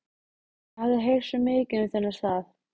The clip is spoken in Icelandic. Ég hafði heyrt svo mikið um þennan stað.